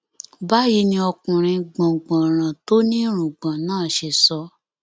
báyìí ni ọkùnrin gbọngbọnràn tó ní irùngbọn náà ṣe sọ